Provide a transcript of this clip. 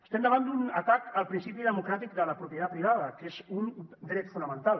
estem davant d’un atac al principi democràtic de la propietat privada que és un dret fonamental